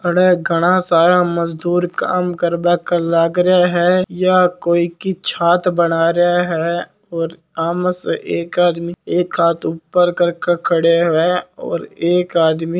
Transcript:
आड़ घणा सारा मजदूर काम करवा के लगा है या कोई की छत बना रा है और आम से एक आदमी एक हाथ ऊपर करके खड़ो है और एक आदमी--